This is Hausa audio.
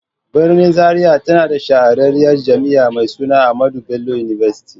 Birnin Zaria tana da shahararriyar Jami'a mai suna AHMADU BELLO UNIVERSITY.